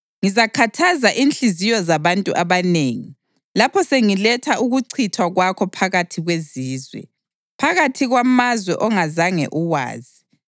Ngizakhathaza inhliziyo zabantu abanengi lapho sengiletha ukuchithwa kwakho phakathi kwezizwe, phakathi kwamazwe ongazange uwazi.